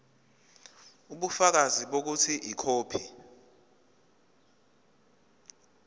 ubufakazi bokuthi ikhophi